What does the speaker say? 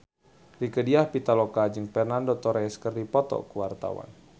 Rieke Diah Pitaloka jeung Fernando Torres keur dipoto ku wartawan